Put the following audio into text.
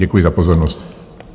Děkuji za pozornost.